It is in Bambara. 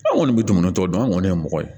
An kɔni bɛ dumuni tɔ dun an kɔni ye mɔgɔ ye